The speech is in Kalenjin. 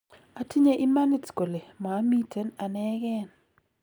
"Atinye imanit kole maamiten anekeen.